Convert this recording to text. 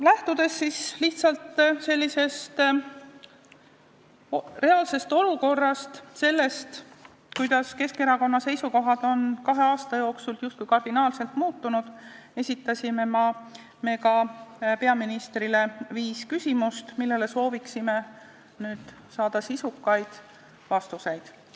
Lähtudes lihtsalt reaalsest olukorrast, sellest, kuidas Keskerakonna seisukohad on kahe aasta jooksul justkui kardinaalselt muutunud, esitasime peaministrile viis küsimust, millele soovime saada sisukaid vastuseid.